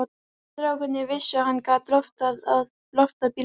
Strákarnir vissu að hann gat loftað bílum.